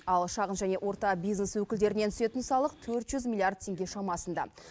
ал шағын және орта бизнес өкілдерінен түсетін салық төрт жүз миллиард теңге шамасында